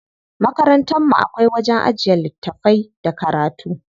Makarantar mu akwai wajen ajiye littafai da karatu.